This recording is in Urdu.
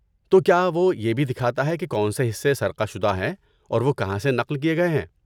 تو کیا وہ یہ بھی دکھاتا ہے کہ کون سے حصے سرقہ شدہ ہیں اور وہ کہاں سے نقل کیے گئے ہیں؟